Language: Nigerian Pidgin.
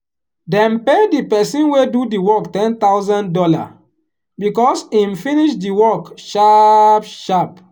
dem pay the person wey do the work ten thousand dollar because him finish the work sharp sharp.